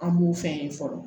An b'u fɛn ye fɔlɔ